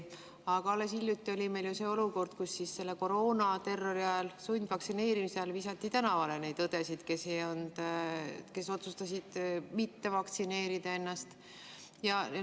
Aga alles hiljuti oli meil ju olukord, kus koroonaterrori ajal, sundvaktsineerimise ajal visati tänavale neid õdesid, kes otsustasid ennast mitte vaktsineerida lasta.